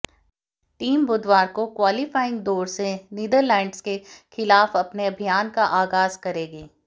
team बुधवार को qualifying दौर में नीदरलैंड्स के खिलाफ अपने अभियान का आगाज करेगी